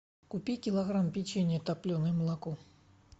купи килограмм печенья топленое молоко